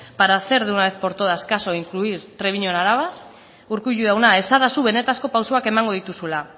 para hacer de una vez por todas caso en incluir treviño en araba urkullu jauna esadazu benetako pausuak emango dituzula